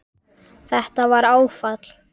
Þetta var áfall.